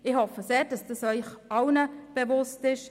Ich hoffe sehr, dass dies Ihnen allen bewusst ist.